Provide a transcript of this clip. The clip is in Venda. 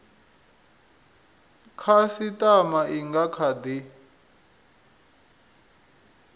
khasitama i nga kha di